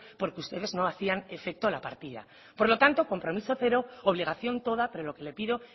porque ustedes no hacían efecto la partida por lo tanto compromiso cero obligación toda pero lo que le pido